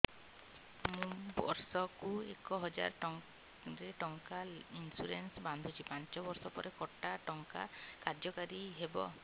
ମୁ ବର୍ଷ କୁ ଏକ ହଜାରେ ଟଙ୍କା ଇନ୍ସୁରେନ୍ସ ବାନ୍ଧୁଛି ପାଞ୍ଚ ବର୍ଷ ପରେ କଟା ଟଙ୍କା କାର୍ଯ୍ୟ କାରି ହେବ